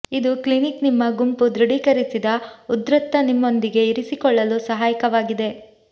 ಇದು ಕ್ಲಿನಿಕ್ ನಿಮ್ಮ ಗುಂಪು ದೃಢೀಕರಿಸಿದ ಉದ್ಧೃತ ನಿಮ್ಮೊಂದಿಗೆ ಇರಿಸಿಕೊಳ್ಳಲು ಸಹಾಯಕವಾಗಿದೆ